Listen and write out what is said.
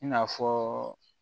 I n'a fɔ